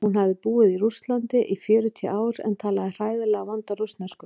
Hún hafði búið í Rússlandi í fjörutíu ár en talaði hræðilega vonda rússnesku.